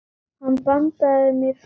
Hann bandaði mér frá sér.